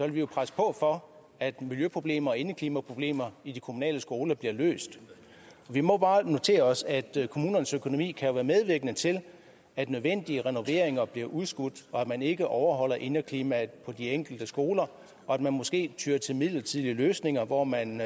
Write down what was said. vi presse på for at miljøproblemer og indeklimaproblemer i de kommunale skoler bliver løst vi må bare notere os at kommunernes økonomi kan være medvirkende til at nødvendige renoveringer bliver udskudt og at man ikke overholder indeklimaet på de enkelte skoler og at man måske tyer til midlertidige løsninger hvor man